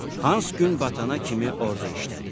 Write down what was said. Hans gün batana kimi orda işlədi.